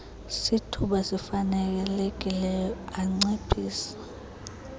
sithuba sifanelekileyo anciphise